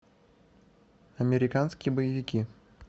американские боевики